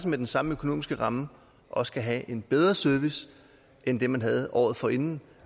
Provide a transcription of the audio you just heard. med den samme økonomiske ramme også kan have en bedre service end den man havde året forinden